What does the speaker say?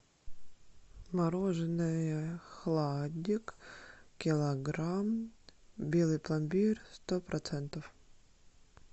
мороженое хладик килограмм белый пломбир сто процентов